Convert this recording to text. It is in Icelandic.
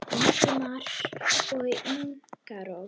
Ingimar og Inga Rósa.